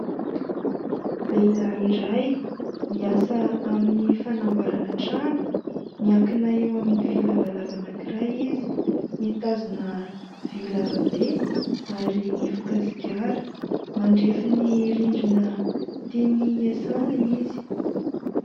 Lehilahy iray miasa amin'ny fanamboarana trano. Miankina eo amin'ny vy lavalava anankiray izy, mitazona vy lava be ary mifoka sigara. Mandrefy ny rindrina tiany hiasana izy.